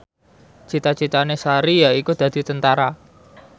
cita citane Sari yaiku dadi Tentara